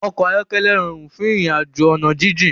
Òkò áyòkèlè ròrún fún irinàjó òná jijin